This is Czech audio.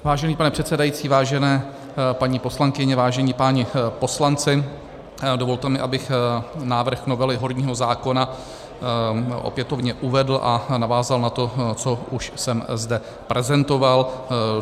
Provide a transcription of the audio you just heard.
Vážený pane předsedající, vážené paní poslankyně, vážení páni poslanci, dovolte mi, abych návrh novely horního zákona opětovně uvedl a navázal na to, co už jsem zde prezentoval.